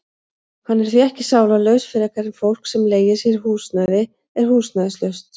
Hann er því ekki sálarlaus frekar en fólk sem leigir sér húsnæði er húsnæðislaust.